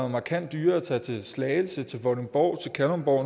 markant dyrere at tage til slagelse til vordingborg til kalundborg